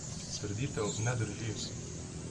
Trditev ne drži.